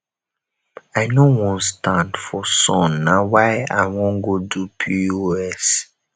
i know wan stand for sun na why i wan go do pos